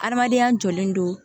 Adamadenya jɔlen don